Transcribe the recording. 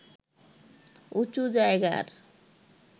উঁচু জায়গার